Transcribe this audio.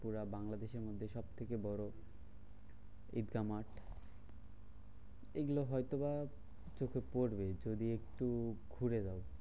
পুরা বাংলাদেশের মধ্যে সবথেকে বড় ঈদগা মাঠ। এইগুলো হয়তো বা চোখে পরবে যদি একটু